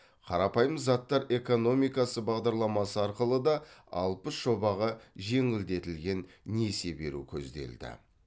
қарапайым заттар экономикасы бағдарламасы арқылы да алпыс жобаға жеңілдетілген несие беру көзделді